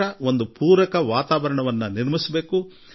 ವರ್ಷಪೂರ್ತಿ ಇಂಥದ್ದೊಂದು ವಾತಾವರಣ ನಿರ್ಮಾಣ ಮಾಡೋಣ